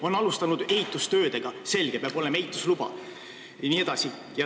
On alustatud ehitustöid – selge, peab olema ehitusluba jne.